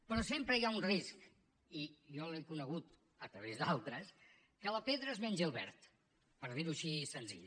però sempre hi ha un risc i jo l’he conegut a través d’altres que la pedra es mengi el verd per dir ho així senzill